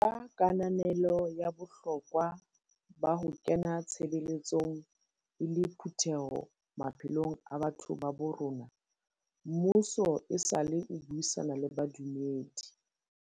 Ka kananelo ya bohlokwa ba ho kena tshebeletsong e le phutheho maphelong a batho ba bo rona, mmuso esale o buisana le badumedi.